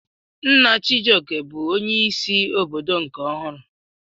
Nna Chijioke bụ onye isi obodo nke ọhụrụ.